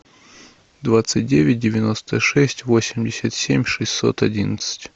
двадцать девять девяносто шесть восемьдесят семь шестьсот одиннадцать